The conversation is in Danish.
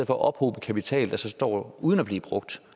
for at ophobe kapital der står uden at blive brugt